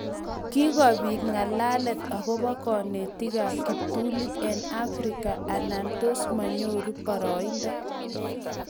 Kikobit ng'alalet akobo konetikab kiptulit eng Afrika anan tos manyoru baroindo